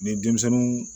Ni denmisɛnninw